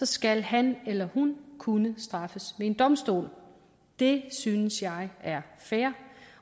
skal han eller hun kunne straffes ved en domstol det synes jeg er fair